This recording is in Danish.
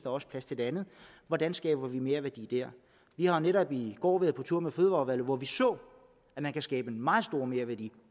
også plads til det andet hvordan skaber vi merværdi der vi har netop i går været på tur med fødevareudvalget hvor vi så at man kan skabe meget stor merværdi